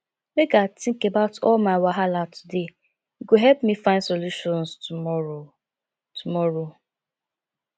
make i tink about all my wahala today e go help me find solutions tomorrow tomorrow